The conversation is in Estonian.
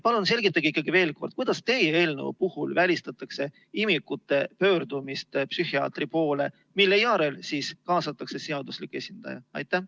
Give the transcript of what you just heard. Palun selgitage veel kord, kuidas teie eelnõu puhul välistatakse imikute pöördumine psühhiaatri poole, mille järel siis kaasatakse seaduslik esindaja?